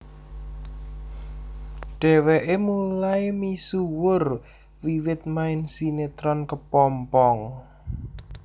Dheweke mulai misuwur wiwit main sinetron Kepompong